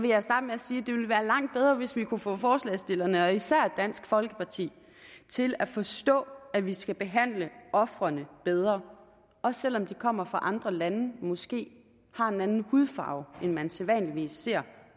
jeg starte med at sige at det ville være langt bedre hvis vi kunne få forslagsstillerne og især dansk folkeparti til at forstå at vi skal behandle ofrene bedre også selv om de kommer fra andre lande og måske har en anden hudfarve end man sædvanligvis ser